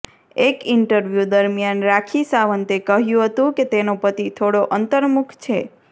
એક ઇન્ટરવ્યુ દરમિયાન રાખી સાવંતે કહ્યું હતું કે તેનો પતિ થોડો અંતરમુખ છે